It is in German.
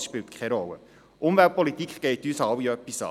Das spielt keine Rolle, denn Umweltpolitik geht uns alle an.